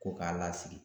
Ko k'a lasigi